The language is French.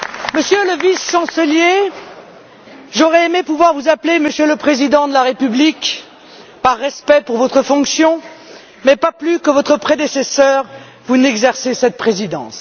Monsieur le Vice chancelier, j'aurais aimé pouvoir vous appeler Monsieur le Président de la République par respect pour votre fonction mais, pas plus que votre prédécesseur, vous n'exercez cette présidence.